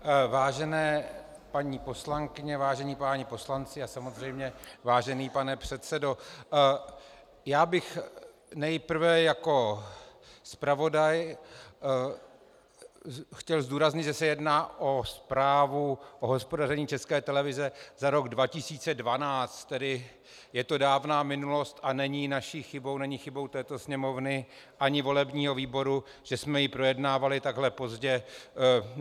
Vážené paní poslankyně, vážení páni poslanci a samozřejmě vážený pane předsedo, já bych nejprve jako zpravodaj chtěl zdůraznit, že se jedná o zprávu o hospodaření České televize za rok 2012, tedy je to dávná minulosti a není naší chybou, není chybou této sněmovny ani volebního výboru, že jsme ji projednávali takhle pozdě.